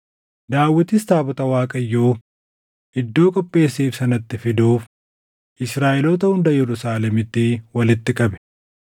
Daawitis taabota Waaqayyoo iddoo qopheesseef sanatti fiduuf Israaʼeloota hunda Yerusaalemitti walitti qabe.